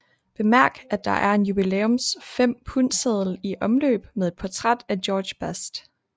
Bemærk at der er en jubilæums 5 pundseddel i omløb med et portræt af George Best